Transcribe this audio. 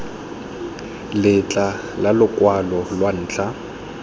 letlha la lokwalo lwa ntlha